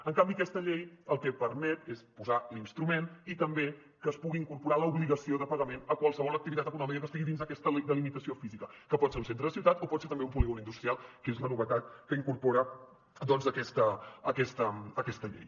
en canvi aquesta llei el que permet és posar l’instrument i també que es pugui incorporar l’obligació de pagament a qualsevol activitat econòmica que estigui dins aquesta delimitació física que pot ser un centre de ciutat o pot ser també un polígon industrial que és la novetat que incorpora aquesta llei